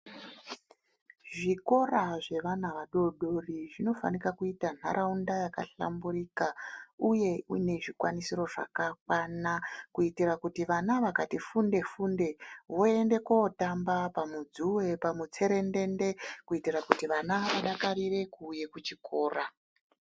Zvikora zvevana vadoodori zvinofanika kuita nharaunda yakahlamburika uye mune zvikwanisiro zvakakwana kuitira kuti vana vakati funde-funde, voende kootamba pamudzuwe pamutserendende kuitira kuti vana vadakarire kuuye kuchikora